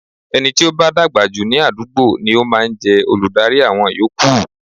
Ẹni tí ó bá dàgbà jù ní àdúgbò ni ó máa ń jẹ́ olùdarí àwọn yòókù.